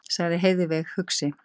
sagði Heiðveig hugsi.